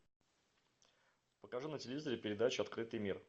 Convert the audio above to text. покажи на телевизоре передачу открытый мир